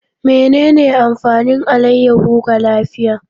Menene amfanin alayyahu ga lafiya.